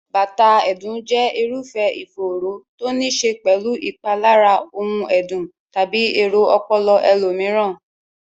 bátàà ẹ̀dùn jẹ́ irúfẹ́ ìfòòró to níí ṣe pẹ̀lú ìpalára ohun ẹ̀dùn tàbí èrò ọpọlọ ẹlòmíràn.